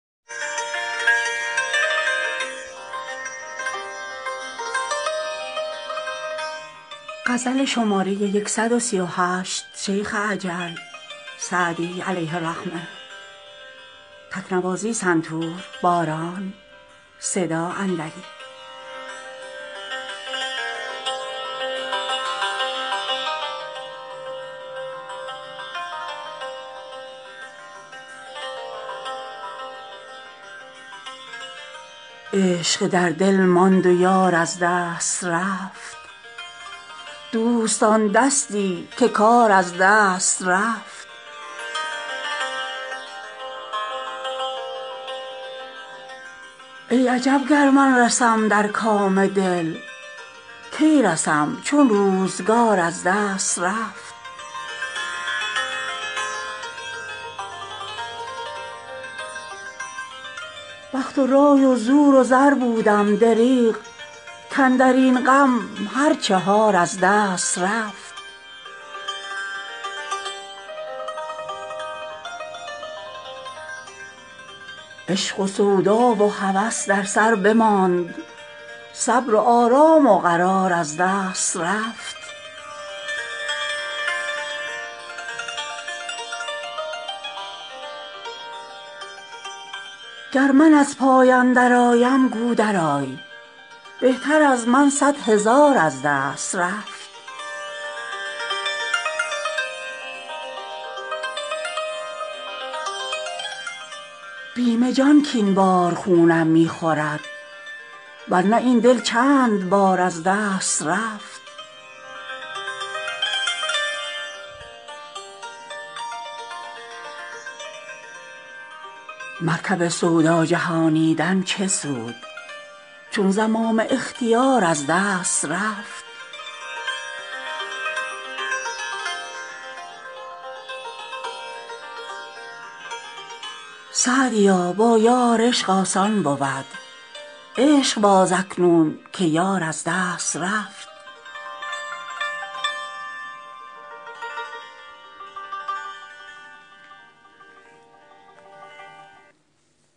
عشق در دل ماند و یار از دست رفت دوستان دستی که کار از دست رفت ای عجب گر من رسم در کام دل کی رسم چون روزگار از دست رفت بخت و رای و زور و زر بودم دریغ کاندر این غم هر چهار از دست رفت عشق و سودا و هوس در سر بماند صبر و آرام و قرار از دست رفت گر من از پای اندرآیم گو درآی بهتر از من صد هزار از دست رفت بیم جان کاین بار خونم می خورد ور نه این دل چند بار از دست رفت مرکب سودا جهانیدن چه سود چون زمام اختیار از دست رفت سعدیا با یار عشق آسان بود عشق باز اکنون که یار از دست رفت